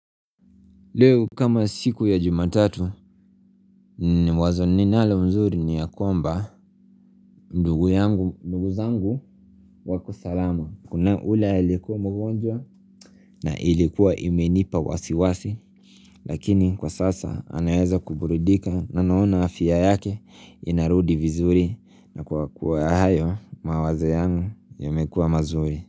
Leo kama siku ya jumatatu wazo ninalo nzuri ni ya kwamba ndugu zangu wako salama. Kuna ule aliyekuwa mgonjwa na ilikuwa imenipa wasiwasi lakini kwa sasa anaeza kuburidika na naona afya yake inarudi vizuri na kwa kuwa hayo mawazo yangu yamekuwa mazuri.